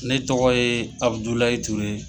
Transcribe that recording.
Ne tɔgɔ ye Abudulay ture ye.